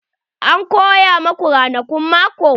An koya maku ranakun mako?